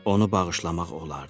Onu bağışlamaq olardı.